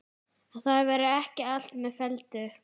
Að það væri ekki allt með felldu.